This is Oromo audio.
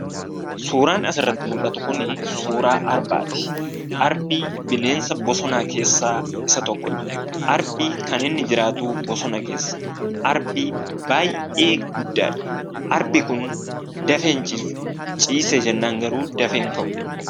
Suuraan asirratti mul'atu kunii suuraa Arbaati. Arbii bineensa bosona keessa isa tokkodha. Arbi kaniinni jiraatu bosona keessa. Arbi baay'ee guddadha. Arbi kun dafee hin ciisu; ciisee jennan garuu dafee in ka'u.